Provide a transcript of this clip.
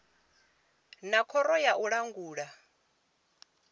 na khoro ya u langula